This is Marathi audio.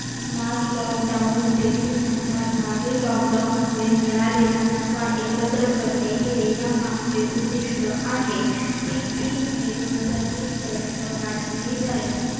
smart lockdown देखील म्हणतात. मागे lockdown मुळे मिळालेला नफा एकत्र करणे हे यामागचे उद्दिष्ट आहे. ती तीन मे दोनहजार वीस पर्यंत वाढवली जाईल.